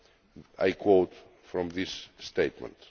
I quote from this statement.